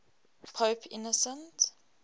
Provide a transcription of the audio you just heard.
pope innocent